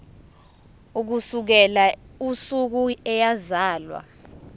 ukusukela usuku eyazalwa